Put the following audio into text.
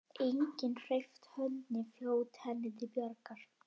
Enginn hreyft hönd né fót henni til bjargar.